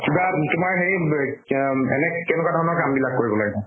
কিবা তোমাৰ হেৰি বে অম এনে কেনেকুৱা ধৰণৰ কাম বিলাক কৰিব লাগে?